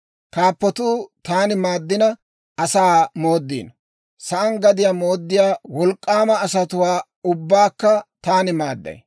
Kaappatuu taani maaddina, asaa mooddino; sa'aan gadiyaa mooddiyaa wolk'k'aama asatuwaa ubbaakka taani maadday.